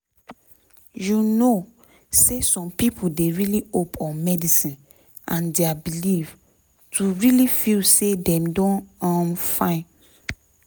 you know say some pipo dey really hope on medicine and dia belief to truly feel say dem don um fine